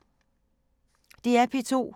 DR P2